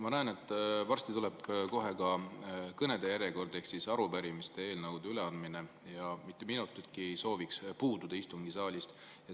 Ma näen, et kohe varsti ka kõnede järjekord ehk arupärimiste ja eelnõude üleandmine ja mitte minutitki ei sooviks puududa istungisaalist.